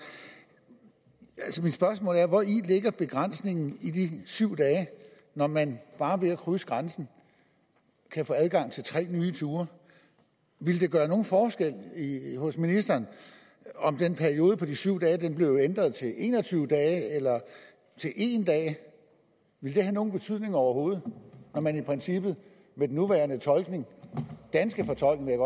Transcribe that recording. så mit spørgsmål er hvori ligger en begrænsning på de syv dage når man bare ved at krydse grænsen kan få adgang til tre nye ture ville det gøre nogen forskel hos ministeren om den periode på de syv dage blev ændret til en og tyve dage eller til en dag ville det have nogen betydning overhovedet når man i princippet med den nuværende fortolkning danske fortolkning